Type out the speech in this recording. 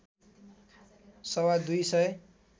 सवा दुई सय